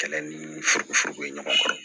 Kɛlɛ ni furumuforo ye ɲɔgɔn kɔrɔ